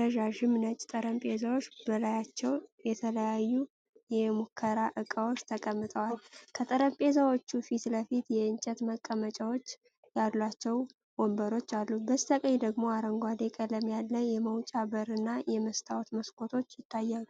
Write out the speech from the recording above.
ረዣዥም ነጭ ጠረጴዛዎች በላያቸው የተለያዩ የሙከራ ዕቃዎች ተቀምጠዋል። ከጠረጴዛዎቹ ፊት ለፊት የእንጨት መቀመጫዎች ያሏቸው ወንበሮች አሉ። በስተቀኝ ደግሞ አረንጓዴ ቀለም ያለው የመውጫ በር እና የመስታወት መስኮቶች ይታያሉ።